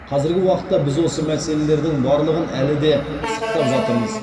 қазіргі уақытта біз осы мәселелердің барлығын әлі де пысықтап жатырмыз